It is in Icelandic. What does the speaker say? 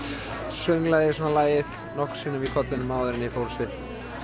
sönglaði lagið nokkrum sinnum í kollinum áður en ég fór á svið